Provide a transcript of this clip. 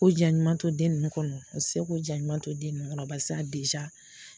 Ko ja ɲuman to den ninnu kɔnɔ, o tɛ se ko ja ɲuman to den ninnu kɔnɔ paseke